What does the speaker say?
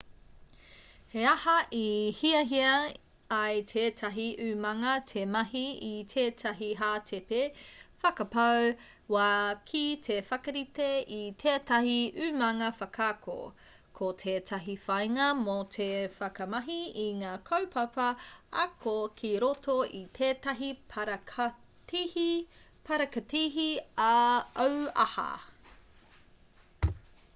he aha i hiahia ai tētahi umanga te mahi i tētahi hātepe whakapau wā ki te whakarite i tētahi umanga whakaako ko tētahi whāinga mō te whakamahi i ngā kaupapa ako ki roto i tētahi parakatihi auaha